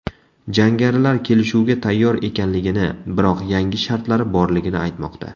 Jangarilar kelishuvga tayyor ekanligini, biroq yangi shartlari borligini aytmoqda.